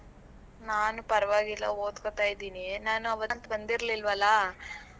ನಾನ್ ಪರವಾಗಿಲ್ಲ ಓದ್ಕೋತಾ ಇದ್ದೀನಿ, ನಾನ್ ಆವತ್ ಬಂದಿರಲಿಲ್ವಲ್ಲ.